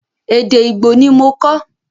Èdè Ìgbò ni mo kọ́.